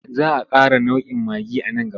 Za a ƙara nau'in maggi a nan gaba.